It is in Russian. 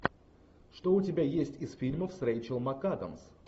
что у тебя есть из фильмов с рэйчел макадамс